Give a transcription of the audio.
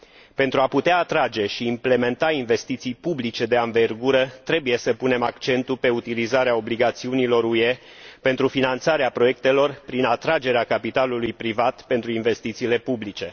Pentru a putea atrage și implementa investiții publice de anvergură, trebuie să punem accentul pe utilizarea obligațiunilor UE pentru finanțarea proiectelor prin atragerea capitalului privat pentru investițiile publice.